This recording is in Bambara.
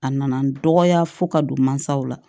A nana dɔgɔya fo ka don mansaw la